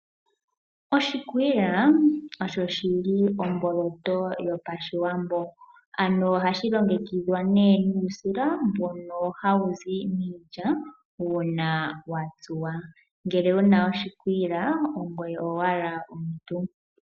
Oshikwiila osho shili omboloto yopashiwambo. Ano ohashi longekidhwa nee nuusila mbono hawu zi miilya una wa tsuwa. Ngele wuna oshikwiila ongoye owala omuntu.